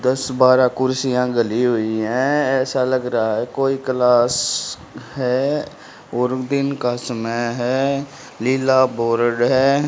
दस बारह कुर्सियां गली हुई है ऐसा लग रहा है कोई क्लास है और दिन का समय है लीला बोर्ड है।